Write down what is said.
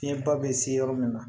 Fiɲɛba bɛ se yɔrɔ min na